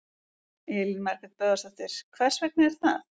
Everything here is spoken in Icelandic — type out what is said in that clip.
Elín Margrét Böðvarsdóttir: Hvers vegna er það?